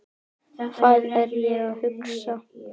Hvað er ég að hugsa?